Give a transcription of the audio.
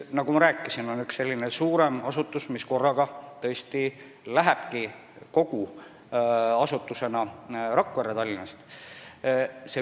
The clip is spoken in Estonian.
Nagu me rääkisime, on geoloogiateenistus üks suurem asutus, mis läheb tõesti korraga, terve asutusena, Tallinnast Rakverre.